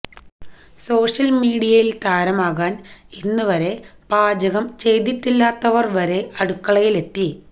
social മീഡിയയില് താരമാകാന് ഇന്നുവരെ പാചകം ചെയ്തിട്ടില്ലാത്തവര് വരെ അടുക്കളയിലെത്തി